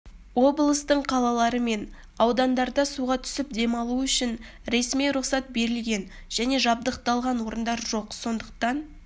облыстың қалалары мен аудандарында суға түсіп демалу үшін ресми рұқсат берілген және жабдықталған орындар жоқ сондықтан